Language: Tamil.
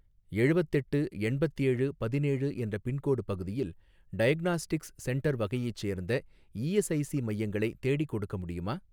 எழுவத்தெட்டு எண்பத்தேழு பதினேழு என்ற பின்கோடு பகுதியில் டயக்னாஸ்டிக்ஸ் சென்டர் வகையைச் சேர்ந்த இஎஸ்ஐஸி மையங்களை தேடிக்கொடுக்க முடியுமா?